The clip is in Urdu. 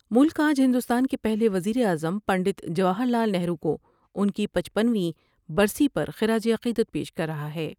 ملک آج ہندوستان کے پہلے وزیراعظم پنڈت جواہر لال نہرو کوان کی پچپن ویں برسی پر خراج عقیدت پیش کر رہا ہے ۔